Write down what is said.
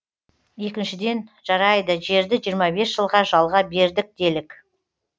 екіншіден жарайды жерді жиырма бес жылға жалға бердік делік